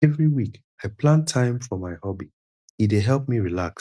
every week i plan time for my hobby e dey help me relax